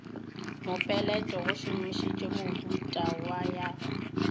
mopeleto go šomišitšwe mehuta ya